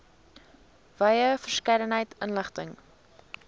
wye verskeidenheid inligting